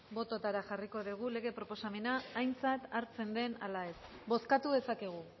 botoetara jarriko dugu lege proposamena aintzat hartzen den ala ez bozkatu dezakegu